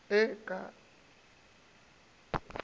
e ke ga se ya